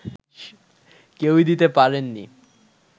কেউই দিতে পারেননি